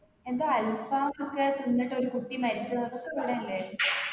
എന്തോ അൽഫാമൊക്കെ തിന്നിട്ട് ഒരു കുട്ടി മരിച്ച് അതൊക്കെ ഇവിടല്ലെ